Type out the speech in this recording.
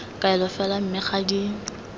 kaelo fela mme ga di